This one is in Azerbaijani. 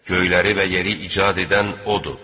Göyləri və yeri icad edən odur.